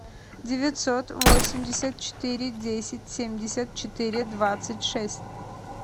девятьсот восемьдесят четыре десять семьдесят четыре двадцать шесть